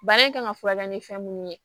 Bana in kan ka furakɛ ni fɛn mun ye